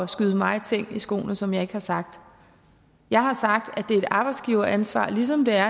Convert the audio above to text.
skyde mig ting i skoene som jeg ikke har sagt jeg har sagt at det er et arbejdsgiveransvar ligesom det er